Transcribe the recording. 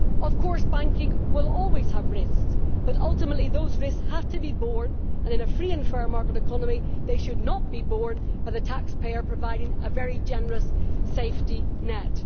Of course banking will always have risks, but ultimately those risks have to be borne and in a free and fair market economy they should not be borne by the taxpayer providing a very generous safety net.